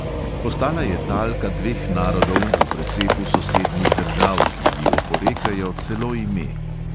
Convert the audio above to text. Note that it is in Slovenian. Postala je talka dveh narodov v precepu sosednjih držav, ki ji oporekajo celo ime.